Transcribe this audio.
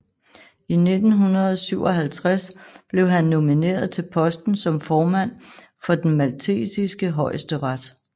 I 1957 blev han nomineret til posten som formand for den maltesiske højesteret